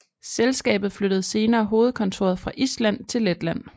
Selskabet flyttede senere hovedkontoret fra Island til Letland